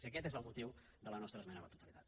i aquest és el motiu de la nostra esmena a la totalitat